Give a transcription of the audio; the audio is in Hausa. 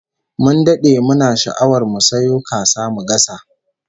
Mun dade muna sha'awar mu sayo kasa mu gasa